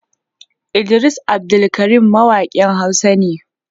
Idris Abdulkarim mawakin hausa ne.